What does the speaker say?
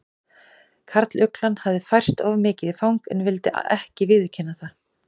Karluglan hafði færst of mikið í fang en vildi ekki viðurkenna það.